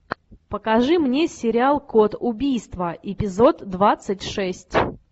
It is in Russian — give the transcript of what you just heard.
покажи мне сериал код убийства эпизод двадцать шесть